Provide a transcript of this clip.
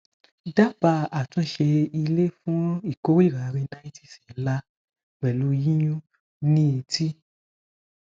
daba atunse ile fun ikorira rhinitis nla pelu yiyun ni eti